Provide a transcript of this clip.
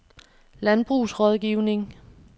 Landbrugsrådgivning